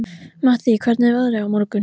Mattý, hvernig er veðrið á morgun?